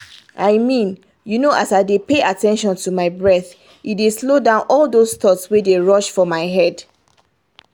i mean you know as i dey pay at ten tion to my breath e dey slow down all those thoughts wey dey rush for my head